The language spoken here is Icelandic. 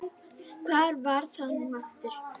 hvar var það nú aftur?